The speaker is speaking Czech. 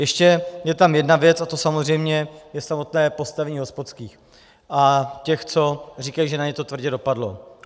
Ještě je tam jedna věc a tou samozřejmě je samotné postavení hospodských a těch, co říkají, že na ně to tvrdě dopadlo.